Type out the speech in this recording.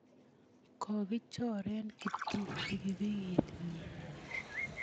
Kokichore Kiptum pikipikit nyi.